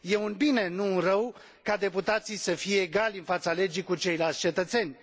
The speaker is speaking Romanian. e un bine, nu un rău, ca deputații să fie egali în fața legii cu ceilalți cetățeni